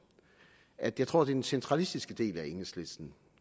at jeg tror det den centralistiske del af enhedslisten